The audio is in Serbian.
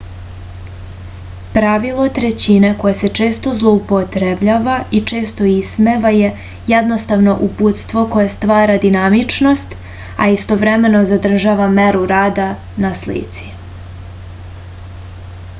pravilo trećina koje se često zloupotrebljava i često ismeva je jednostavno uputstvo koje stvara dinamičnost a istovremeno zadržava meru reda na slici